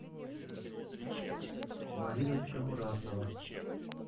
мариночка мурасова